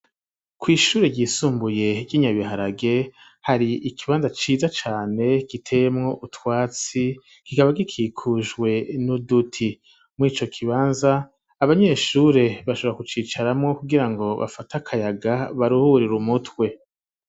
Kw'ishuri ryisumbuye ry'Inyabiharage, hari ikibanza ciza cane giteyemwo utwatsi kikaba gikikujwe n'uduti, mw'ico kibanza abanyeshuri bashobora kucicaramwo kugira ngo bafate akayaga baruhurira umutwe.